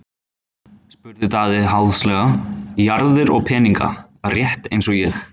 spurði Daði háðslega:-Jarðir og peninga, rétt eins og ég.